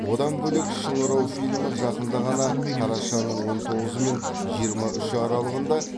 одан бөлек шыңырау фильмі жақында ғана қарашаның он тоғызы мен жиырма үші аралығында